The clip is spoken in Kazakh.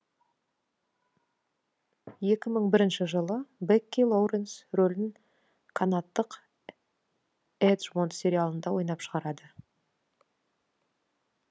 екі мың бірінші жылы бекки лоуренс рөлін канадтық эджмонт сериалында ойнап шығарады